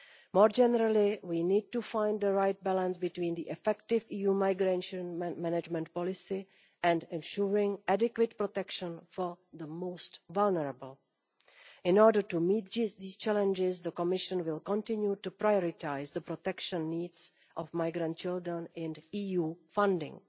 More generally, we need to find the right balance between the effective EU migration management policy and ensuring adequate protection for the most vulnerable. In order to meet these challenges the Commission will continue to prioritise the protection needs of migrant children in EU funding.